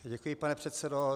Děkuji, pane předsedo.